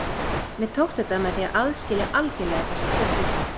Mér tókst þetta með því að aðskilja algerlega þessa tvo hluti.